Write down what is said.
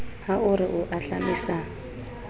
ha o re o ahlamisa